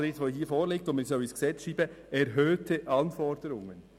Was bedeuten dann die im Antrag erwähnten erhöhten Anforderungen?